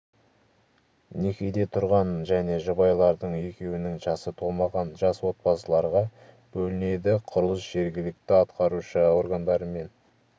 некеде тұрған және жұбайлардың екеуінің жасы толмаған жас отбасыларға бөлінеді құрылыс жергілікті атқарушы органдарымен